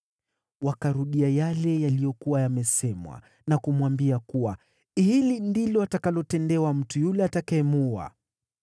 Wakarudia yale yaliyokuwa yamesemwa na kumwambia kuwa, “Hili ndilo atakalotendewa mtu yule atakayemuua.”